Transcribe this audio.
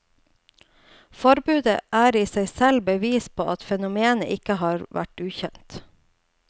Forbudet er i seg selv bevis på at fenomenet ikke har vært ukjent.